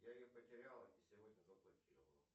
я ее потерял и сегодня заблокировал